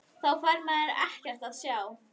Þá fær maður nú ekkert að sjá!!